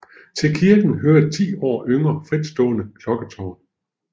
Til kirken hører et ti år yngre fritstående klokketårn